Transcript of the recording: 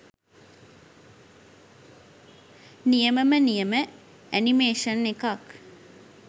නියමම නියම ඇනිමේශන් එකක්